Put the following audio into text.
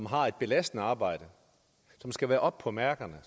har et belastende arbejde skal være oppe på mærkerne